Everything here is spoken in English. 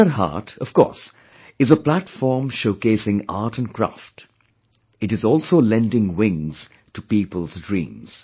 Hunar Haat, of course, is a platform showcasing art & craft; it is also lending wings to people's dreams